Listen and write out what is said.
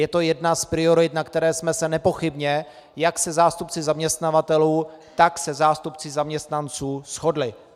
Je to jedna z priorit, na které jsme se nepochybně jak se zástupci zaměstnavatelů, tak se zástupci zaměstnanců shodli.